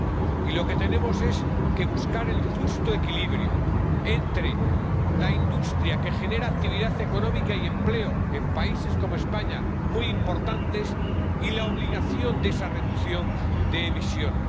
Y tenemos que buscar el justo equilibrio entre la industria que genera actividad económica y empleo —en países como España, muy importantes— y la obligación de esa reducción de emisiones.